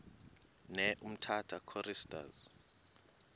ne umtata choristers